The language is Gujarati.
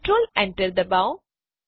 કન્ટ્રોલ Enter દબાવો